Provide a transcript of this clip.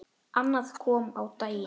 Annað kom á daginn.